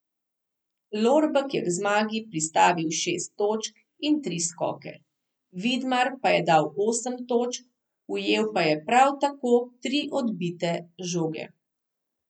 Lorbek je k zmagi pristavil šest točk in tri skoke, Vidmar pa je dal osem točk, ujel pa je prav tako tri odbite žoge.